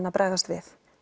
að bregðast við